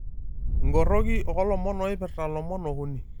Enkoroki olomon oippira lomon okuni.